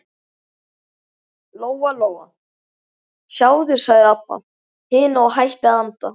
Lóa-Lóa, sjáðu, sagði Abba hin og hætti að anda.